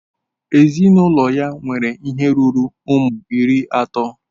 Ezinụlọ ya nwere ihe ruru ụmụ iri atọ.